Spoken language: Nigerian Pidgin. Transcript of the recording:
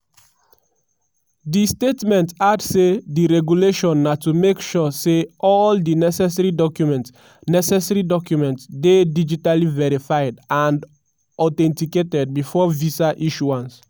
di statement add say di regulation na to make sure say all di necessary documents necessary documents dey digitally verified and authenticated before visa issuance.